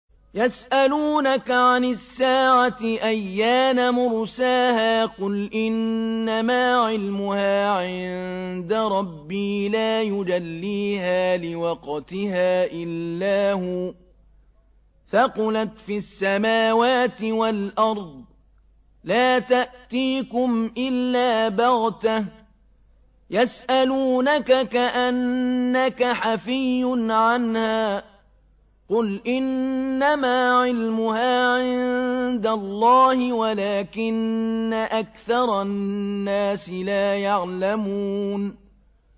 يَسْأَلُونَكَ عَنِ السَّاعَةِ أَيَّانَ مُرْسَاهَا ۖ قُلْ إِنَّمَا عِلْمُهَا عِندَ رَبِّي ۖ لَا يُجَلِّيهَا لِوَقْتِهَا إِلَّا هُوَ ۚ ثَقُلَتْ فِي السَّمَاوَاتِ وَالْأَرْضِ ۚ لَا تَأْتِيكُمْ إِلَّا بَغْتَةً ۗ يَسْأَلُونَكَ كَأَنَّكَ حَفِيٌّ عَنْهَا ۖ قُلْ إِنَّمَا عِلْمُهَا عِندَ اللَّهِ وَلَٰكِنَّ أَكْثَرَ النَّاسِ لَا يَعْلَمُونَ